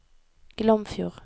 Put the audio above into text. Glomfjord